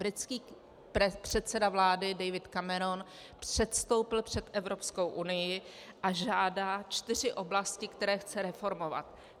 Britský předseda vlády David Cameron předstoupil před Evropskou unii a žádá čtyři oblasti, které chce reformovat.